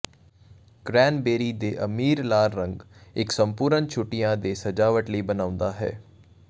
cranberry ਦੇ ਅਮੀਰ ਲਾਲ ਰੰਗ ਇੱਕ ਸੰਪੂਰਨ ਛੁੱਟੀਆਂ ਦੇ ਸਜਾਵਟ ਲਈ ਬਣਾਉਂਦਾ ਹੈ